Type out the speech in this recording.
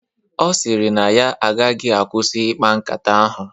Ọ sịrị na ọ gaghị akwụsị ikpa nkata ahụ